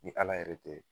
Ni ala yɛrɛ tɛ